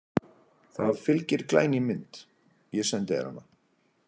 Það fylgir glæný mynd, ég sendi þér hana.